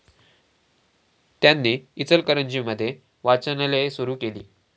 त्यांनी इचलकरंजी मध्ये वाचनालये सुरु केली.